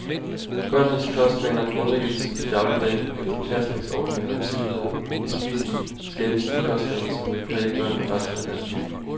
Børnenes kostvaner grundlægges i dagligdagen, og i de pasningsordninger, der tilbyder bespisning, skabes de kostvaner, som vil præge børnene resten af deres liv.